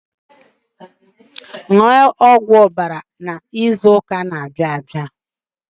Ṅụọ ọgwụ ọbara izu ụka na-abịa abịa.